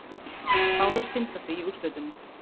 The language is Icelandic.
Báðar synda því í úrslitunum